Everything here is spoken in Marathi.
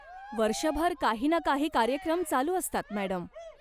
वर्षभर काही ना काही कार्यक्रम चालू असतात, मॅडम.